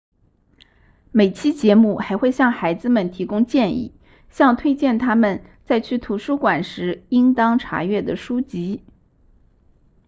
每期节目还会向孩子们提供建议向推荐他们在去图书馆时应当查阅的书籍